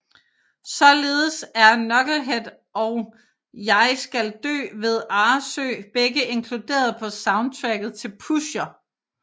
Således er Knucklehead og Jeg skal Dø ved Arresø begge inkluderet på soundtracket til Pusher